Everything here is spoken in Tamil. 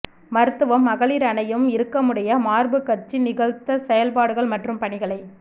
மருத்துவம் மகளிர் அணியும் இறுக்கமுடைய மார்புக் கச்சு நிகழ்த்த செயல்பாடுகள் மற்றும் பணிகளை